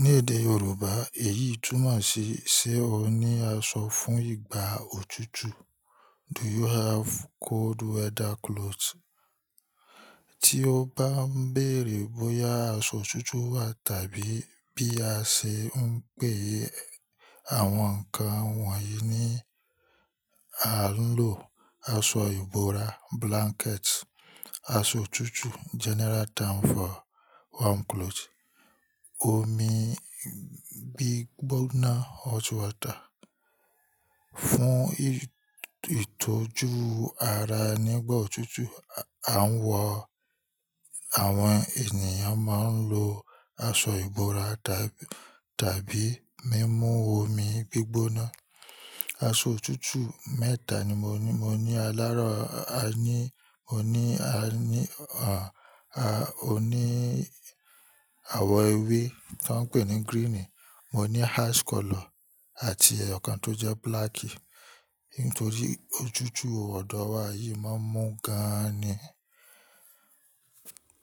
Ní èdè Yorùbá, èyí túmọ̀ sí ṣe ó ní aṣọ fún ìgbà òtútù. Do you have cold weather clothes? Tí o bá ń bèèrè bóyá aṣọ òtútù wà tàbí bí a ṣe ń pè àwọn nǹkan wọ̀nyí ní à ń lò aṣọ ìbora blanket, aṣọ òtútù general term for warm clothes. Omi gbígbóná hot water. Fún ìtójú ara nígbà òtútù, à ń wọ̀, àwọn ènìyàn máa ń lo aṣọ ìbora tàbí mímú omi gbígbóná. Aṣọ òtútù mẹ́ta ni mo ní. Mo ní alárọ̀, a ní, mo ní a ní, à, a, o ní àwọ̀ ewé tó ń pè ní gírínì, mo ní ash color àti ẹ̀yọ̀kan tó jẹ́ búlákì. Nítorí òtútù ọ̀dọ̀ wa yìí máa ń mú gan-an ni.